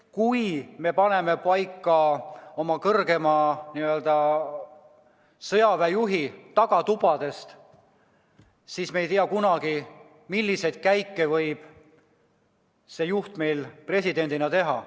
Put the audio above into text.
Kui me paneme oma kõrgeima sõjaväejuhi paika tagatubades, siis me ei tea kunagi, milliseid käike võib see juht presidendina teha.